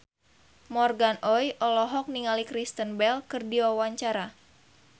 Morgan Oey olohok ningali Kristen Bell keur diwawancara